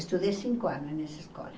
Estudei cinco anos nessa escola.